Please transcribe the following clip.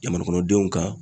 Jamana kɔnɔdenw kan.